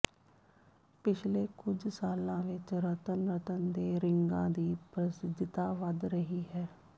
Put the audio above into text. ਪਿਛਲੇ ਕੁਝ ਸਾਲਾਂ ਵਿਚ ਰਤਨ ਰਤਨ ਦੇ ਰਿੰਗਾਂ ਦੀ ਪ੍ਰਸਿੱਧੀਤਾ ਵਧ ਰਹੀ ਹੈ